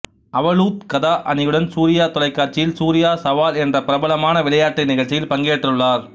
அவலூத் கதா அணியுடன் சூர்யா தொலைகாட்சியில் சூர்யா சவால் என்ற பிரபலமான விளையாட்டு நிகழ்சியில் பங்கேற்றுள்ளார்